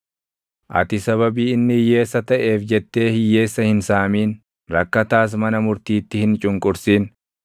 Ati sababii inni hiyyeessa taʼeef jettee hiyyeessa hin saamin; rakkataas mana murtiitti hin cunqursin;